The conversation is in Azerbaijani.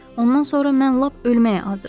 Ondan sonra mən lap ölməyə hazıram.